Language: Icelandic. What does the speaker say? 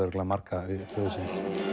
margra við föður sinn